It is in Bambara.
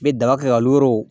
N bɛ daga kɛ ka